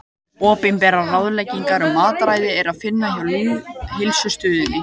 Opinberar ráðleggingar um mataræði er að finna hjá Lýðheilsustöð.